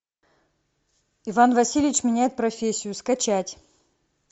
иван васильевич меняет профессию скачать